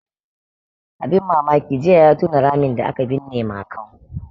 Abun mamaki jiya ya tona ramin da aka binne Makau.